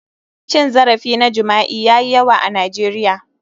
Cin zarafi na jima'i yayi yawa a Nigeria.